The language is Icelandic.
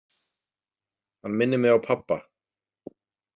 Hann minnir mig á pabba.